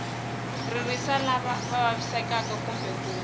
ririsa lava vavisekaku kumbe ku